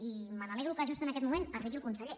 i me n’alegro que just en aquest moment arribi el conseller